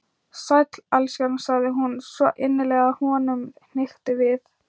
Sæll, elskan sagði hún, svo innilega að honum hnykkti við.